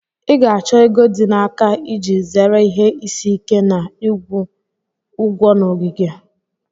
Ị ga-achọ ego dị n'aka iji zere ihe isi ike Na ịkwụ ụgwọ na ogige.